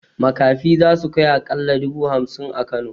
Makafi zasu kai aƙalla dubu hamsin a kano